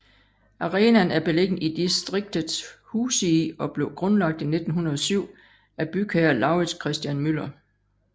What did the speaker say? Arenaen er beliggende i distriktet Husie og blev grundlagt i 1907 af bygherre Lauritz Christian Müller